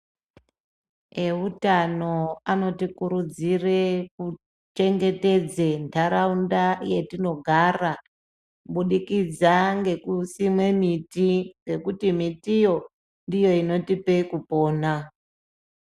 Ewutano anotikuridzire kuchengetedze ndaraunda yetinogara kubidikidza ngekusime miti nekuti mitiyo ndiyo inotipe kupona .